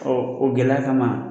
Ɔ o gɛlɛya kama